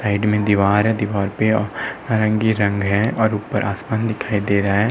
Side में दीवार है। दीवार पर नारंगी रंग है और ऊपर आसमान दिखाई दे रहा है।